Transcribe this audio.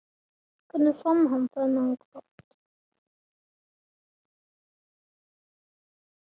Hvernig fann hann þennan kraft?